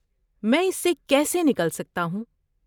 میں اس سے کیسے نکل سکتا ہوں؟